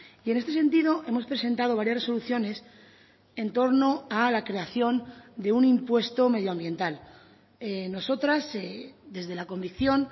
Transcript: y en este sentido hemos presentado varias resoluciones en torno a la creación de un impuesto medioambiental nosotras desde la convicción